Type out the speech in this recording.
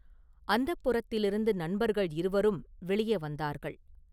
அந்தப்புரத்திலிருந்து நண்பர்கள் இருவரும் வெளியே வந்தார்கள்.